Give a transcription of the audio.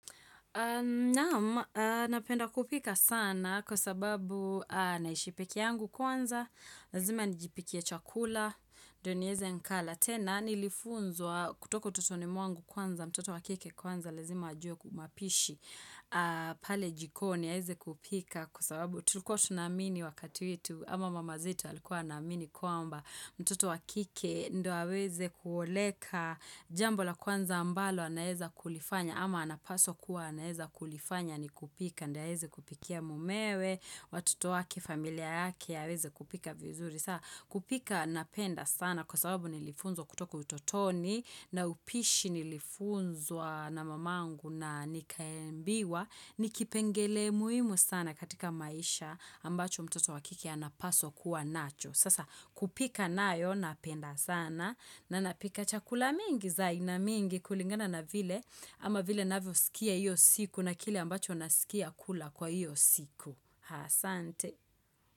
Naam, napenda kupika sana kwa sababu naishi pekee yangu kwanza, lazima nijipikie chakula, ndio niweze nikala. Tena nilifunzwa kutoko utotoni mwangu kwanza mtoto wakike kwanza lazima ajue kumapishi pale jikoni ya eze kupika kwa sababu tulikuwa tunaamini wakati wetu ama mama zetu walikuwa wanaamini kwamba mtoto wakike ndio aweze kuoleka jambo la kwanza ambalo anaeza kulifanya ama anapaswa kuwa anaeza kulifanya ni kupika ndio aweze kupikia mumewe watoto wake familia yake aweze kupika vizuri saa kupika napenda sana kwa sababu nilifunzwa kutoka utotoni na upishi nilifunzwa na mamangu na nikambiwa. Nikipengele muhimu sana katika maisha ambacho mtoto wakike anapaswa kuwa nacho. Sasa kupika nayo napenda sana na napika chakula mingi za aina mingi kulingana na vile. Ama vile navyo sikia iyo siku na kile ambacho nasikia kula kwa iyo siku. Haa sante.